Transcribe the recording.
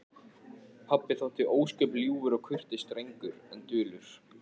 Pabbi þótti ósköp ljúfur og kurteis drengur en dulur.